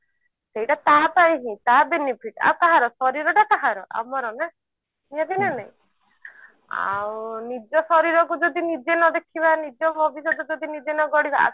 ସେଟା ତାପାଇଁ ହିଁ ତା benefit ଆଉ କାହାର ଶରୀର ଟା କାହାର ଆମର ନା କି ନାଇଁ ଆଉ ନିଜ ଶରୀର କୁ ଯଦି ନିଜେ ନ ଦେଖିବା ନିଜ ଭବିଷ୍ୟତ ଯଦି ନିଜେ ନ ଗଢିବା ଆଉ